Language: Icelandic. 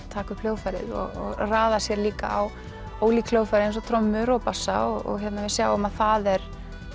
taka upp hljóðfærið og raða sér líka á ólík hljóðfæri eins og trommur og bassa og við sjáum að það er